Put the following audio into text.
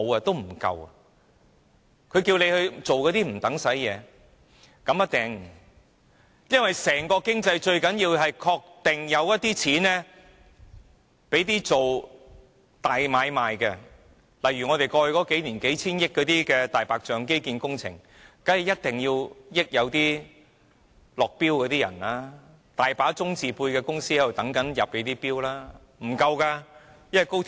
大家可以放心，整體經濟最重要是確保有資金進行大買賣，例如過去數年便有多項數千億元的"大白象"基建工程，政府當然要確保落標者得益，很多"中"字輩的公司都在伺機入標。